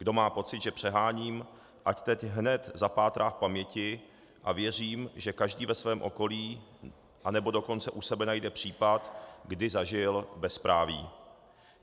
Kdo má pocit, že přeháním, ať teď hned zapátrá v paměti, a věřím, že každý ve svém okolí nebo dokonce u sebe najde případ, kdy zažil bezpráví.